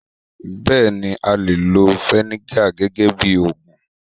Bẹ́ẹ̀ni, a lè lọ Vinegar gẹ́gẹ́ bíi ogún